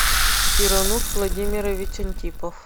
сирануш владимирович антипов